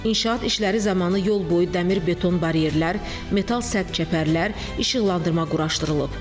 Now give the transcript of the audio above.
İnşaat işləri zamanı yol boyu dəmir beton baryerlər, metal səpçəpərlər, işıqlandırma quraşdırılıb.